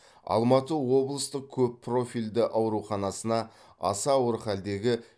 алматы облыстық көп профильді ауруханасына аса ауыр халдегі